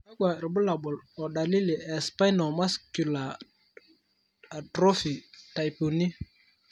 kakwa irbulabol o dalili e Spinal musculer atrophy type 3?